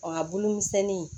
a bulu misɛnni